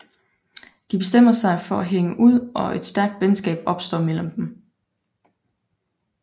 De bestemmer sig for at hænge ud og et stærkt venskab opstår mellem dem